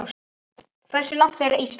Hversu langt fer Ísland?